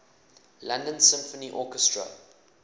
london symphony orchestra